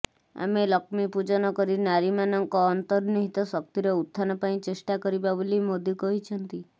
ଆମେ ଲକ୍ଷ୍ମୀ ପୂଜନ କରି ନାରୀମାନଙ୍କ ଅନ୍ତର୍ନିହିତ ଶକ୍ତିର ଉତଥାନ ପାଇଁ ଚେଷ୍ଟା କରିବା ବୋଲି ମୋଦୀ କହିଛନ୍ତି